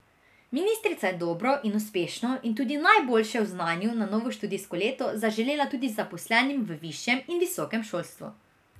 Ministrica je dobro in uspešno in tudi najboljše v znanju novo študijsko leto zaželela tudi zaposlenim v višjem in visokem šolstvu.